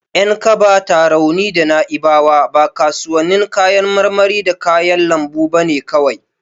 Yankaba, Tarauni da Na'ibawa ba kasuwannin kayan marmari da kayan lambu bane kawai.